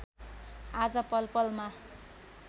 आज पल पलमा